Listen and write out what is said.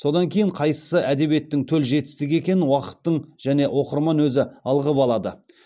содан кейін қайсысы әдебиеттің төл жетістігі екенін уақыттың және оқырман өзі ылғап алады